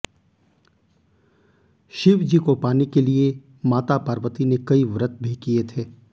शिवजी को पाने के लिए माता पार्वती ने कई व्रत भी किए थे